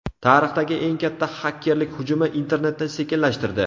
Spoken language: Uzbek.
Tarixdagi eng katta xakerlik hujumi internetni sekinlashtirdi.